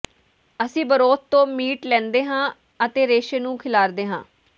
ਅਸੀਂ ਬਰੋਥ ਤੋਂ ਮੀਟ ਲੈਂਦੇ ਹਾਂ ਅਤੇ ਰੇਸ਼ੇ ਨੂੰ ਖਿਲਾਰਦੇ ਹਾਂ